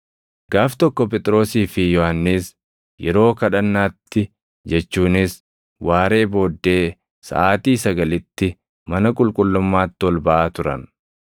Gaaf tokko Phexrosii fi Yohannis yeroo kadhannaatti jechuunis waaree booddee saʼaatii sagalitti mana qulqullummaatti ol baʼaa turan.